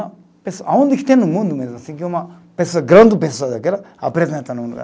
Onde é que tem no mundo mesmo assim que uma pessoa, grande pessoa daquela apresenta